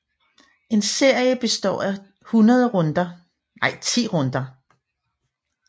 En serie består af 10 runder